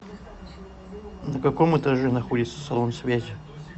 на каком этаже находится салон связи